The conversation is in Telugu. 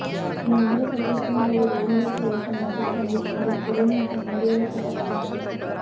ఈ మందుల సరిచేస్తున్న మరియు రోగనిరోధక వ్యవస్థ నియంత్రిస్తుంది మరియు శరీరం యొక్క నిరోధకత పెంచుతుంది